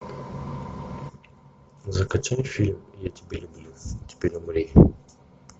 закачай фильм я тебя люблю теперь умри